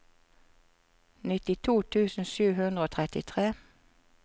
nittito tusen sju hundre og trettitre